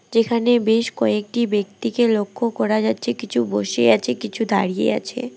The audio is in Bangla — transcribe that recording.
যেখানে বেশ কয়েকটি ব্যক্তিকে লক্ষ্য করা যাচ্ছে কিছু বসে আছে কিছু দাঁড়িয়ে আছে।